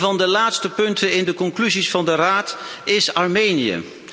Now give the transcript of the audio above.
Een van de laatste punten in de conclusies van de Raad is Armenië.